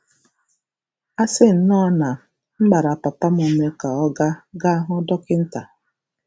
A sị nnọọ na m gbara papa m ume ka ọ gaa gaa hụ dọkịta. '